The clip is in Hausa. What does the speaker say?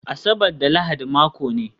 Asabar da Lahadi mako ne